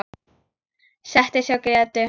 Settist hjá Grétu.